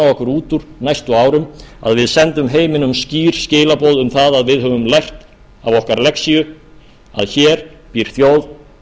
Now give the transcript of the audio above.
okkur út úr næstu árum að við sendum heiminum skýr skilaboð um það að við höfum lært af okkar lexíu að hér býr þjóð